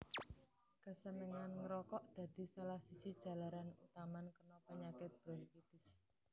Kasenengan ngrokok dadi salah siji jalaran utaman kena penyakit bronkitis